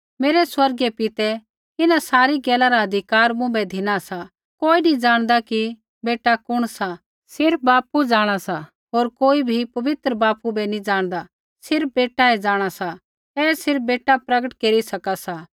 मेरै स्वर्गीय पितै इन्हां सारी गैला रा अधिकार मुँभै धिना सा कोई नी ज़ाणदा कि बेटा कुण सा सिर्फ़ बापू जाँणा सा होर कोई भी पवित्र बापू बै नी जाँणदा सिर्फ़ बेटा जाँणा सा ऐ सिर्फ़ बेटा प्रगट केरी सका सा